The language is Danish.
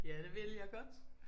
Ja det vil jeg godt